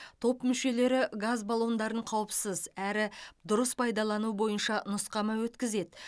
топ мүшелері газ баллондарын қауіпсіз әрі дұрыс пайдалану бойынша нұсқама өткізеді